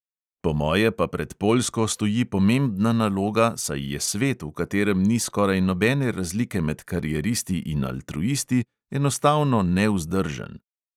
Po moje pa pred poljsko stoji pomembna naloga, saj je svet, v katerem ni skoraj nobene razlike med karieristi in altruisti, enostavno nevzdržen.